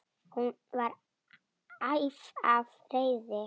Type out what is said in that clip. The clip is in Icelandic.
Hún var æf af reiði.